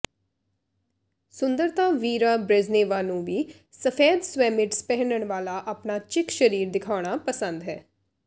ਸੁੰਦਰਤਾ Vera Brezhneva ਨੂੰ ਵੀ ਸਫੈਦ ਸਵੈਮਿਡਸ ਪਹਿਨਣ ਵਾਲਾ ਆਪਣਾ ਚਿਕ ਸਰੀਰ ਦਿਖਾਉਣਾ ਪਸੰਦ ਹੈ